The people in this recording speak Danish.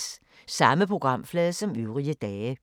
Samme programflade som øvrige dage